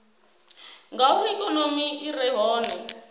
ngauri ikonomi i re hone